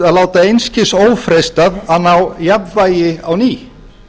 að láta einskis ófreistað að ná jafnvægi á ný